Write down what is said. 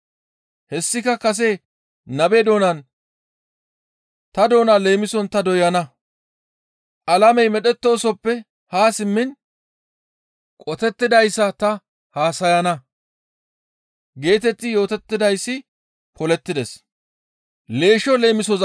Hessika kase nabe doonan, «Ta doona leemison ta doyana; alamey medhettoosoppe haa simmiin qotettidayssa ta haasayana» geetetti yootettidayssi polettides.